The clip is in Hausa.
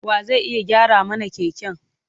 Wa zai iya gyara mana keken?